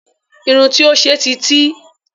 Irun tí ó ṣe ti tí